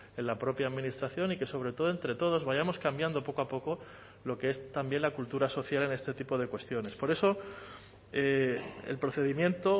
en la propia administración y que sobre todo entre todos vayamos cambiando poco a poco lo que es también la cultura social en este tipo de cuestiones por eso el procedimiento o